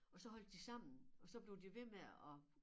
Og så holdt de sammen og så blev de ved med at